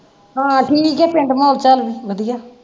ਹਾ ਠੀਕ ਐ ਪਿੰਡ ਮੋਲ ਚਾਲ ਵਧਿਆ